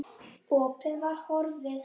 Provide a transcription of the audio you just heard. Opið var horfið.